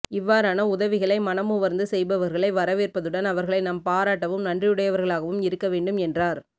இவ்வாறான உதவிகளை மனமுவர்ந்து செய்ப்பவர்களை வரவேற்பதுடன் அவர்களை நாம் பாராட்டவும் நன்றியுடையவர்களாகவும் இருக்கவேண்டும் என்றார்